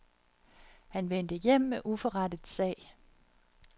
Han vendte hjem med uforrettet sag.